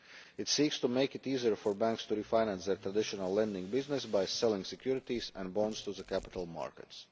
It seeks to make it easier for banks to refinance their traditional lending business by selling securities and bonds to the capital markets.